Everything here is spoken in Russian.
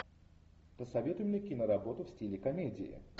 посоветуй мне киноработу в стиле комедии